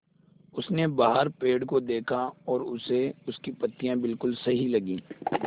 उसने बाहर पेड़ को देखा और उसे उसकी पत्तियाँ बिलकुल सही लगीं